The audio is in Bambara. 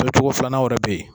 Kɛ cogo filanan yɛrɛ be yen.